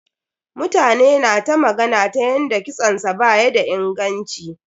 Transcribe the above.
Mutane na ta magana ta yanda kitson sa ba ya da inganci.